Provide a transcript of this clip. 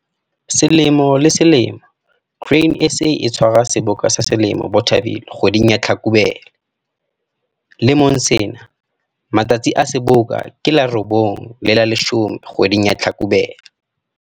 Selemo le selemo, Grain SA e tshwara Seboka sa selemo Bothaville kgweding ya Hlakubele. Lemong sena, matsatsi a Seboka ke la 9 le la 10 kgweding ya Hlakubele.